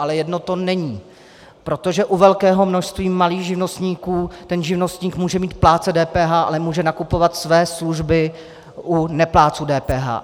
Ale jedno to není, protože u velkého množství malých živnostníků ten živnostník může být plátce DPH, ale může nakupovat své služby u neplátců DPH.